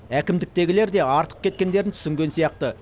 әкімдіктегілер де артық кеткендерін түсінген сияқты